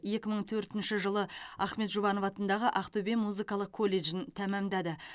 екі мың төртінші жылы ахмет жұбанов атындағы ақтөбе музыкалық колледжін тәмамдады